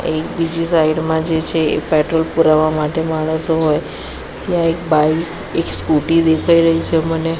એક બીજી સાઇડ મા જે છે એ પેટ્રોલ પુરાવા માટે માણસો હોય ત્યાં એક બાઇક એક સ્કૂટી દેખાય રહી છે મને.